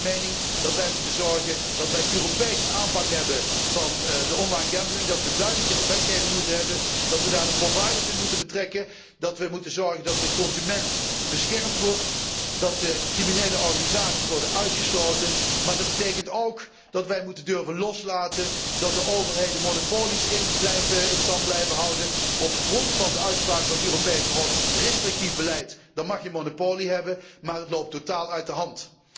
Dus ik ben van mening dat wij moeten zorgen voor een Europese aanpak van online gambling dat wij een duidelijker wetgeving moeten hebben, dat wij daar de providers in moeten betrekken, dat wij ervoor moeten zorgen dat de consument beschermd wordt, dat de criminele organisaties worden uitgesloten. Maar dat betekent ook dat wij moeten durven loslaten dat de overheden monopolies in stand blijven houden op grond van de uitspraak van het Europese Hof restrictief beleid, dan mag je monopolie hebben, maar het loopt totaal uit de hand.